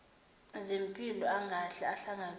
zempilo angahle ahlangabezane